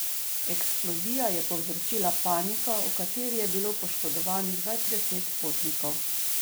Eksplozija je povzročila paniko, v kateri je bilo poškodovanih več deset potnikov.